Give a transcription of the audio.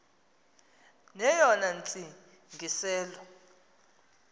neyona ntsi ngiselo